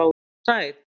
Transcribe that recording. Var hún sæt?